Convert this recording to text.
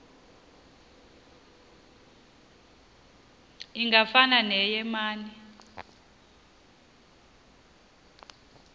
ingafana neye mane